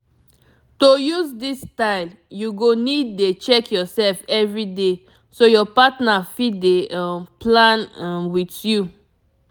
to use this style you go need dey check yourself everyday so your partner fit dey um plan um with you